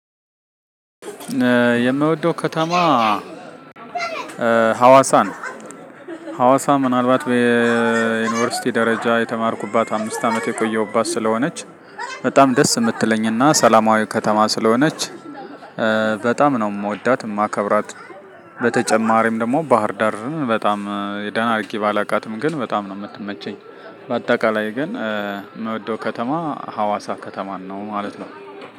የምወደው ከተማ ሀዋሳ ነው። ሀዋሳ ምናልባት በዩኒቨርሲቲ ደረጃ የተማርኩባት አምስት አመት የቆየሁባት ስለሆነች በጣም ደስ የምትለኝና ሰላማዊ ከተማ ስለሆነች በጣም ነው የምወዳት የማከብራት። በተጨማሪም ደግሞ ባህር ዳርን በጣም የደህና አድርጊ ባላቃትም ግን በጣም ነው የምትመቸኝ። በአጠቃላይ ግን ምውደው ከተማ ሀዋሳ ከተማን ነው ማለት ነው።